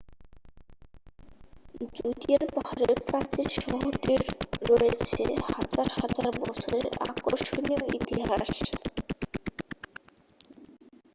Judean পাহাড়ের প্রাচীন শহরটির রয়েছে হাজার হাজার বছরের আকর্ষণীয় ইতিহাস